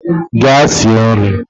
Gaa sie nri!